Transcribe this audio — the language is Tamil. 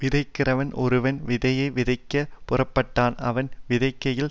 விதைக்கிறவன் ஒருவன் விதையை விதைக்கப் புறப்பட்டான் அவன் விதைக்கையில்